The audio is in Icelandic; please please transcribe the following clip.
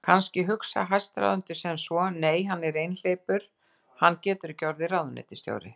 Kannski hugsa hæstráðendur sem svo: Nei, hann er einhleypur, hann getur ekki orðið ráðuneytisstjóri.